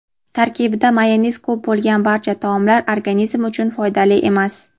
tarkibida mayonez ko‘p bo‘lgan barcha taomlar organizm uchun foydali emas.